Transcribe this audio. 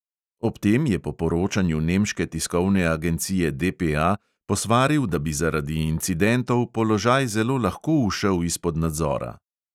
Ob tem je po poročanju nemške tiskovne agencije DPA posvaril, da bi zaradi incidentov "položaj zelo lahko ušel izpod nadzora".